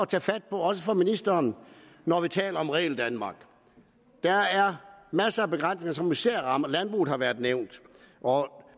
tage fat på også for ministeren når vi taler om regeldanmark der er masser af begrænsninger som især rammer landbruget har været nævnt og